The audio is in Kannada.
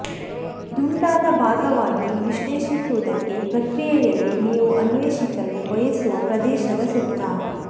ದುಂಡಾದ ಭಾಗವಾಗಿ ವಿಶ್ಲೇಷಿಸುವುದಕ್ಕೆ ಪ್ರಕ್ರಿಯೆಯಲ್ಲಿ ನೀವು ಅನ್ವೇಷಿಸಲು ಬಯಸುವ ಪ್ರದೇಶದ ಸುತ್ತ